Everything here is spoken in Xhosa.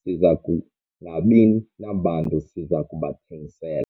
siza kungabi nabantu siza kubathengisela.